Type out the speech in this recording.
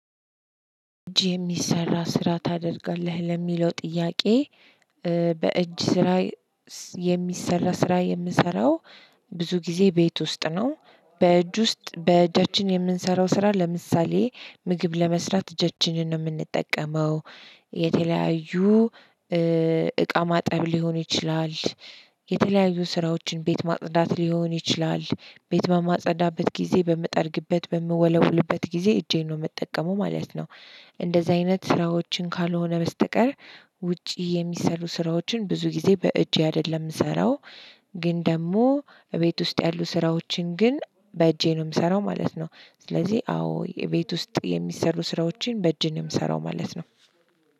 እጅ የሚሰራ ስራ ታደርጋለህ? ለሚለው ጥያቄ በእጅ ስራ የሚሰራ ስራ የምሰራው ብዙ ጊዜ ቤት ውስጥ ነው። በእጅ ውስጥ በእጃችን የምንሰራው ስራ ለምሳሌ ምግብ ለመስራት እጃችንን ነው የምንጠቀመው የተለያዩ እቃ ማጠብ ሊሆን ይችላል የተለያዩ ስራዎችን ቤት ማጽዳት ሊሆን ይችላል፣ ቤት በማጸዳበት ጊዜ፣ በምጠርግበት በምወለውልበት ጊዜ እጄን ነው የምጠቀመው ማለት ነው። እንደዚህ አይነት ስራዎችን ካልሆነ በስተቀር ውጪ የሚሰሩ ስራዎችን ብዙ ጊዜ በእጄ አይደለም የምሰራው ግን ደግሞ እቤት ውስጥ ያሉ ስራዎችን ግን በእጄ ነው የምሰራው ማለት ነው ስለዚህ አዎ የቤት ውስጥ የሚሰሩ ስራዎችን በእጅ ነው የምሰራው ማለት ነው።